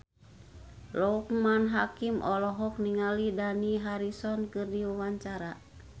Loekman Hakim olohok ningali Dani Harrison keur diwawancara